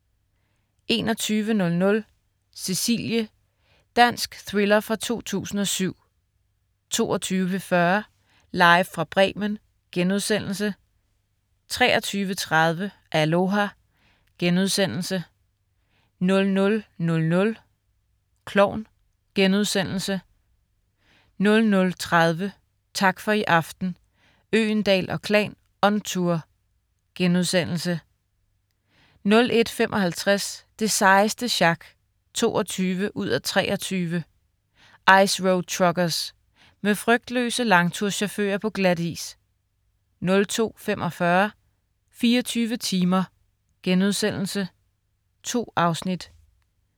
21.00 Cecilie. Dansk thriller fra 2007 22.40 Live fra Bremen* 23.30 Aloha!* 00.00 Klovn* 00.30 Tak for i aften, Øgendahl & Klan on tour* 01.55 Det sejeste sjak 22:23 Ice Road Truckers. Med frygtløse langturschauffører på glatis 02.45 24 timer.* 2 afsnit